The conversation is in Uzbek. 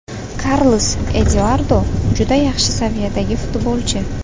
Karlos Eduardo juda yaxshi saviyadagi futbolchi.